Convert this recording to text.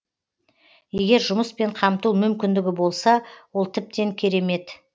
егер жұмыспен қамту мүмкіндігі болса ол тіптен керемет